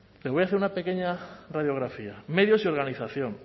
le voy a hacer una pequeña radiografía medios y organización